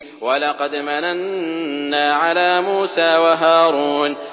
وَلَقَدْ مَنَنَّا عَلَىٰ مُوسَىٰ وَهَارُونَ